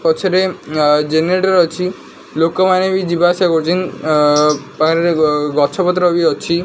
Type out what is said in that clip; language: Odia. ପଛରେ ଆ ଜେନେରେଟର ଅଛି ଲୋକମାନେ ବି ଯିବା ଆସିବା କରୁଚିଁ ଆ ବାରି ରେ ଗ-ଗଛ ପତ୍ର ବି ଅଛି।